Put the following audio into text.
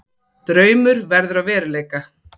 Draumur verður að veruleika